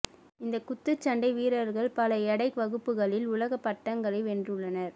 இந்த குத்துச்சண்டை வீரர்கள் பல எடை வகுப்புகளில் உலக பட்டங்களை வென்றுள்ளனர்